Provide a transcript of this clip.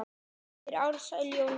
eftir Ársæl Jónsson